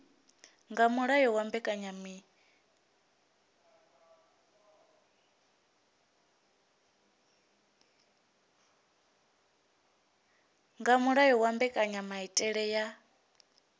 nga mulayo wa mbekanyamaitele ya